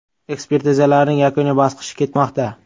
Ekspertizalarning yakuniy bosqichi ketmoqda.